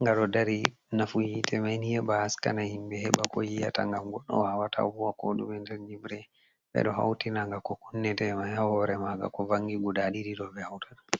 nga do dari .Nafu hite maini heba haskana himbe heba ko yi'ata ngam goddo wawata huwa ko dume ,nder nyimre ,be do hautinaga ko kunnete mayi ha hore maga ,ko vangi guda didi do be haurata.